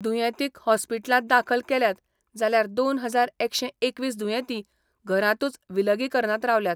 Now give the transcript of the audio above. दुयेंतींक हॉस्पिटलात दाखल केल्यात जाल्यार दोन हजार एकशे एकवीस दुयेंतीं घरातुच विलगीकरनात रावल्यात.